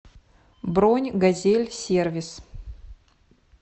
бронь газель сервис